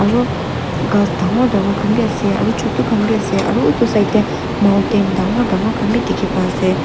ru ghas dangor dangor khan bi ase aro chutu khan bi ase aro utu side tey mountain dangor dangor khan bi dikhi pai ase.